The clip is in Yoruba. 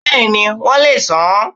Bẹ́ẹ̀ni, won le è san an